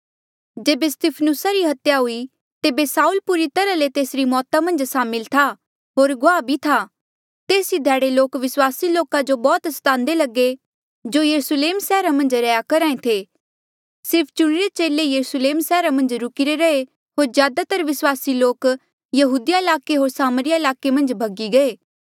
जेबे स्तिफनुसा री हत्या हुई तेबे साऊल पूरी तरहा ले तेसरी मौता मन्झ सामिल था होर गुआह भी था तेस ई ध्याड़े लोक विस्वासी लोका जो बौह्त स्तांदे लगे जो यरुस्लेम सैहरा मन्झ रैहया करहा ऐें थे सिर्फ चुणिरे चेले ई यरुस्लेमा सैहरा मन्झ रुकिरे रहे होर ज्यादातर विस्वासी लोक यहूदिया ईलाके होर सामरिया ईलाके मन्झ भगी गये